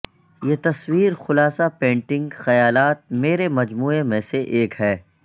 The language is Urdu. یہ تصویر خلاصہ پینٹنگ خیالات کے میرے مجموعہ میں سے ایک ہے